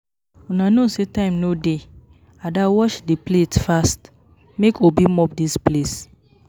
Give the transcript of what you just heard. Una no say time no dey, Ada wash the plates fast make Obi mop dis place